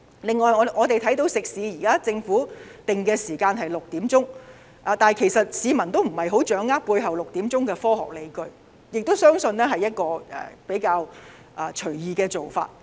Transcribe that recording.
此外，我們看到食肆方面，政府現在限制晚上6時後不能堂食，但市民根本不掌握這措施背後的科學理據，相信是一個比較隨意的做法。